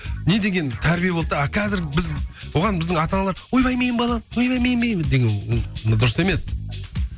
не деген тәрбие болды да ал қазір біз бұған біздің ата аналар ойбай менің балам ойбай деген ол дұрыс емес